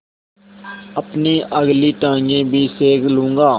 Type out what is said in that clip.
अपनी अगली टाँगें भी सेक लूँगा